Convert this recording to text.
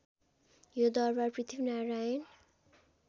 यो दरबार पृथ्वीनारायण